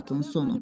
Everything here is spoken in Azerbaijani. Statın sonu.